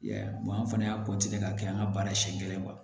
I y'a ye an fana y'a ka kɛ an ka baara senɲɛ kelen